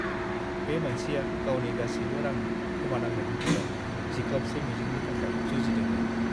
बे मानसिया गावनि गासिबो रां खोमानांनायनि उनाव जिख्लाबसे मिजिंनि थाखाय जुजिदोंमोन।